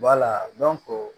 Wala